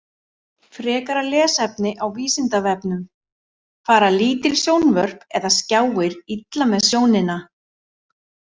Frekara lesefni á Vísindavefnum: Fara lítil sjónvörp eða skjáir illa með sjónina?